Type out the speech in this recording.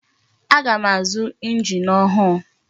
Aga m azu engine ọhụụ.